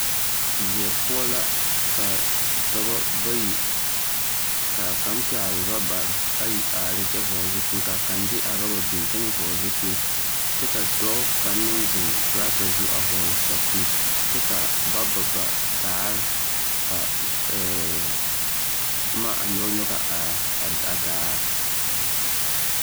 Weɛ poɔ la ka dɔbɔ bayi k'a kaŋ pɛgele rabare ayi are ne kyɛ vɔgele zupili ka kaŋ de a roba biŋ kyɛ meŋ vɔgele zupili kyɛ ka dɔɔ kaŋ meŋ zeŋ torata zu a vɔɔle sapigi kyɛ ka ba ba ba daare ka ɛɛɛ boma a nyɔge nyɔge a daare.